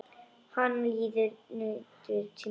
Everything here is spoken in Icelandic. Hann lítur niður til mín.